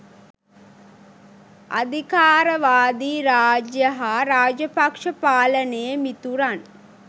අධිකාරවාදී රාජ්‍ය හා රාජපක්ෂ පාලනයේ මිතුරන්